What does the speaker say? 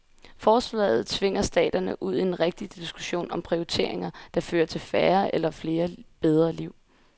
Forslaget tvinger staterne ud i en rigtig diskussion om prioriteringer, der fører til færre eller flere bedre liv.